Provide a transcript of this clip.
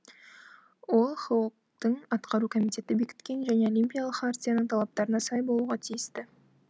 ол хок тың атқару комитеті бекіткен және олимпиялық хартияның талаптарына сай болуға тиісті